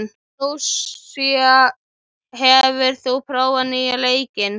Lúísa, hefur þú prófað nýja leikinn?